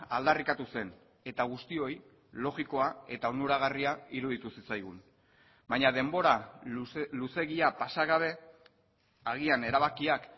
aldarrikatu zen eta guztioi logikoa eta onuragarria iruditu zitzaigun baina denbora luzeegia pasa gabe agian erabakiak